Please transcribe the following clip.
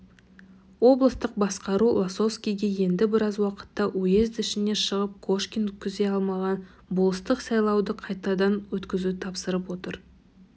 облыстық басқару лосовскийге енді біраз уақытта уезд ішіне шығып кошкин өткізе алмаған болыстық сайлауды қайтадан өткізуді тапсырып отыр